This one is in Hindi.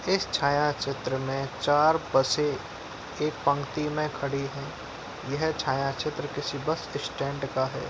इस छाया चित्र में चार बसें एक पंक्ति में खडी है। यह छाया चित्र किसी बस स्टेंड का है।